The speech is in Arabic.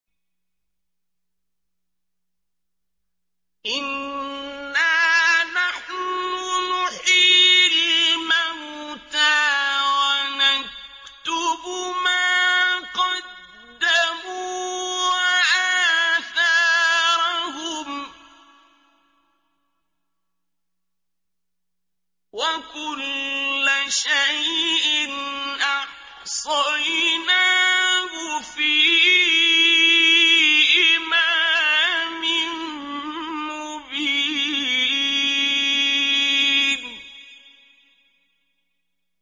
إِنَّا نَحْنُ نُحْيِي الْمَوْتَىٰ وَنَكْتُبُ مَا قَدَّمُوا وَآثَارَهُمْ ۚ وَكُلَّ شَيْءٍ أَحْصَيْنَاهُ فِي إِمَامٍ مُّبِينٍ